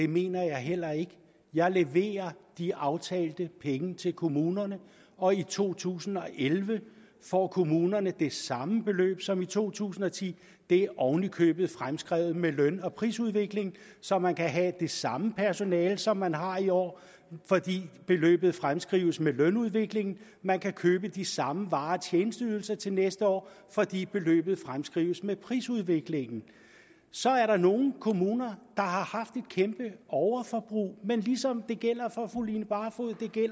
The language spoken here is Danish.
mener jeg heller ikke jeg leverer de aftalte penge til kommunerne og i to tusind og elleve får kommunerne det samme beløb som i to tusind og ti det er oven i købet fremskrevet med løn og prisudviklingen så man kan have det samme personale som man har i år fordi beløbet fremskrives med lønudviklingen man kan købe de samme varer og tjenesteydelser til næste år fordi beløbet fremskrives med prisudviklingen så er der nogle kommuner der har haft et kæmpe overforbrug men ligesom det gælder for fru line barfod